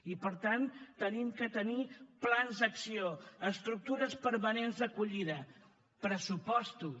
i per tant hem de tenir plans d’acció estructures permanents d’acollida pressupostos